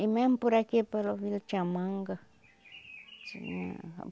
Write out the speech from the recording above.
E mesmo por aqui, pela vila, tinha manga, tinha.